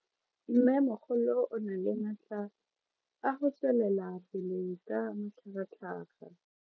Mmemogolo o na le matla a go tswelela pele ka matlhagatlhaga.